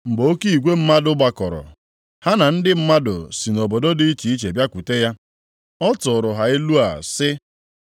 Mgbe oke igwe mmadụ gbakọrọ ha na ndị mmadụ si nʼobodo dị iche iche bịakwute ya. Ọ tụụrụ ha ilu a sị,